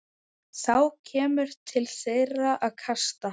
Þá kemur til þeirra kasta.